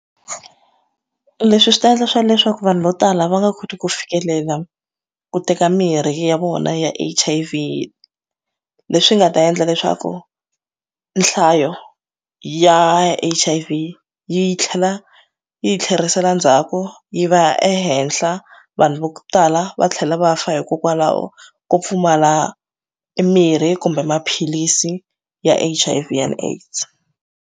Leswi swi ta endla swa leswaku vanhu vo tala va nga koti ku fikelela ku teka mirhi ya vona ya H_I_V leswi nga ta endla leswaku nhlayo ya H_I_V yi tlhela yi tlherisela ndzhaku yi va ya ehenhla vanhu va ku tala va tlhela va fa hikokwalaho ko pfumala mimirhi kumbe maphilisi ya H_I_V and aids.